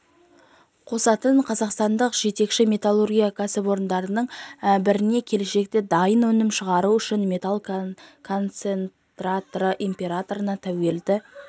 қосатын қазақстандық жетекші металлургия кәсіпорындарының біріне келешекте дайын өнім шығару үшін металл концентратының импортына тәуелді